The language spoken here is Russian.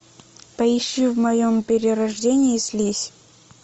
поищи в моем перерождении слизь